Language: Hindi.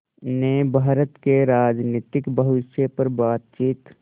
ने भारत के राजनीतिक भविष्य पर बातचीत